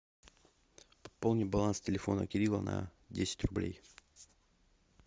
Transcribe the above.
пополни баланс телефона кирилла на десять рублей